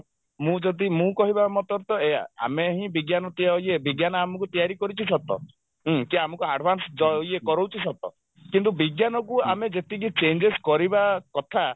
ମୁଁ ଯଦି ମୁଁ କହିବା ମତରେ ତ ଏଇଆ ଆମେ ହିଁ ବିଜ୍ଞାନ ଏ ବିଜ୍ଞାନ ଆମକୁ ତିଆରି କରିଛି ସତ ହୁଁ କି ଆମକୁ advance ଅ ଇଏ କରଉଛି ସତ କିନ୍ତୁ ବିଜ୍ଞାନକୁ ଆମେ ଯେତିକି changes କରିବା କଥା